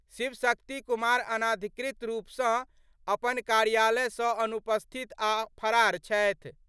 शिव शक्ति कुमार अनधिकृत रूप सं अपन कार्यालय सं अनुपस्थित आ फरार छथि।